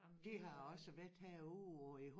Det har også været herude og i